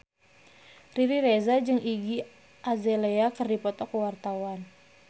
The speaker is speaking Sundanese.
Riri Reza jeung Iggy Azalea keur dipoto ku wartawan